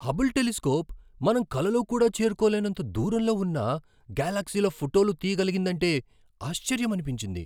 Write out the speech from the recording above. Hubble telescope మనం కలలో కూడా చేరుకోలేనంత దూరంలో ఉన్న గెలాక్సీల ఫోటోలు తియ్యగలిగిందంటే ఆశ్చర్యమనిపించింది!